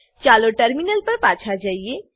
ચાલો ટર્મિનલ પર પાછા જઈએ